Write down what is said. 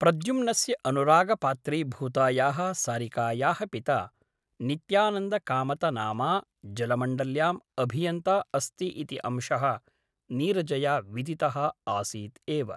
प्रद्युम्नस्य अनुरागपात्रीभूतायाः सारिकायाः पिता नित्यानन्दकामतनामा जलमण्डल्याम् अभियन्ता अस्ति इति अंशः नीरजया विदितः आसीत् एव ।